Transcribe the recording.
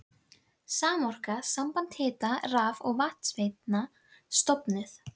Samorka, samband hita-, raf- og vatnsveitna, stofnuð.